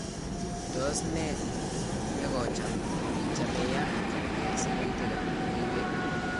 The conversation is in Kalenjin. tos ne ne kocham ichame ya keger siritik ab logoiywek